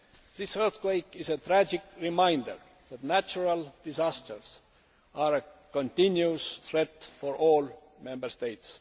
This earthquake is a tragic reminder that natural disasters are a continual threat for all Member States.